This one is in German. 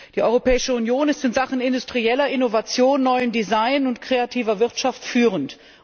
Die Europäische Union ist in Sachen industrieller Innovation, neuem Design und kreativer Wirtschaft führend.